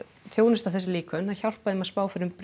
þjónusta þessi líkön að hjálpa þeim að spá fyrir um